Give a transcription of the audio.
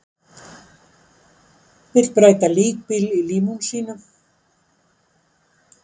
Vill breyta líkbíl í límúsínu